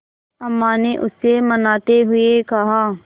अम्मा ने उसे मनाते हुए कहा